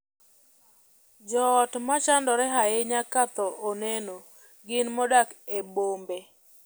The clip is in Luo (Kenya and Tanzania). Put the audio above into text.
Joot ma chandore ahinya ka thoo oneno gin modak e bombe.